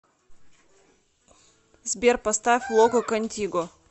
сбер поставь локо контиго